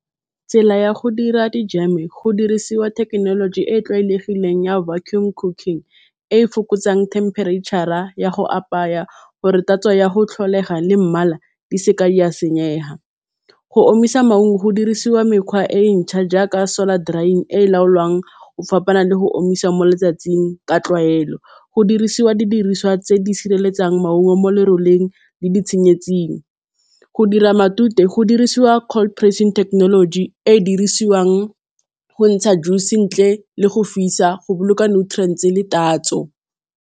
Tsela ya go dira di-jam-e go dirisiwa thekenoloji e e tlwaelegileng ya vacum cooking, e e fokotsang themperetšhara ya go apaya gore tatso ya tlholego le mmala di seka tsa senyega. Go omisa maungo go dirisiwa mekgwa e mešwa jaaka solar drying e e laolwang go fapana le go omisa mo letsatsing ka tlwaelo, go dirisiwa didiriswa tse di sireletsang maungo mo leroleng le ditshenyetsing. Go dira matute go dirisiwa cold pressing technology e e dirisiwang go ntsha juice ntle le go fisa, go boloka nutrients-e le tatso.